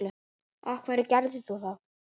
af hverju gerðir þú það?